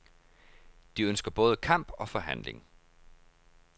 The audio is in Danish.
De ønsker både kamp og forhandling.